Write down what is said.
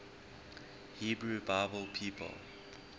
hebrew bible people